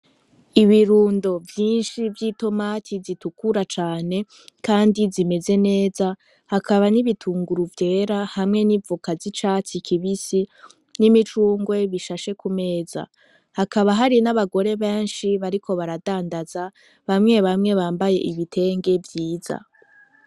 Ibirundo vyishi vyi tomati z’itukura cane kandi zimeze neza hakaba n'ibitunguru vyera hamwe n'ivoka zicatsi kibisi n'imicungwe bishashe kumeza hakaba hari n'abagore beshi bariko baradandaza bamwe bamwe bambaye ibitenge vyiza.